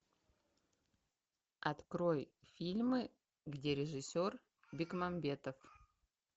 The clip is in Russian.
открой фильмы где режиссер бекмамбетов